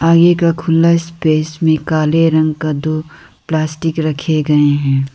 आगे का खुला स्पेस में काले रंग का दो प्लास्टिक रखे गए हैं।